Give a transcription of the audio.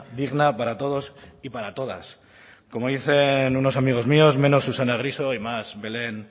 digna para todos y para todas como dicen unos amigos míos menos susana griso y más belén